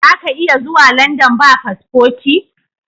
Zaka iya zuwa London ba paspoti